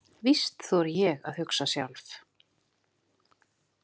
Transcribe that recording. Víst þori ég að hugsa sjálf.